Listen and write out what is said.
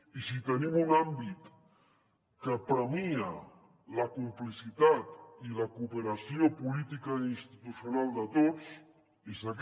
i si tenim un àmbit que premia la complicitat i la cooperació política i institucional de tots és aquest